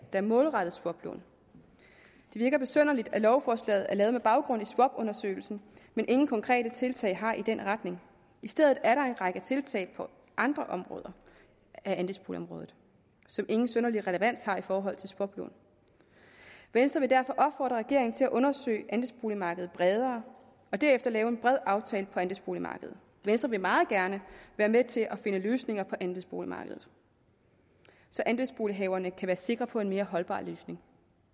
er målrettet swaplån det virker besynderligt at lovforslaget er lavet med baggrund i swapundersøgelsen men ingen konkrete tiltag har i den retning i stedet er der en række tiltag på andre områder af andelsboligområdet som ingen synderlig relevans har i forhold til swaplån venstre vil derfor opfordre regeringen til at undersøge andelsboligmarkedet bredere og derefter lave en bred aftale på andelsboligmarkedet venstre vil meget gerne være med til at finde løsninger på andelsboligmarkedet så andelsbolighaverne kan være sikre på en mere holdbar løsning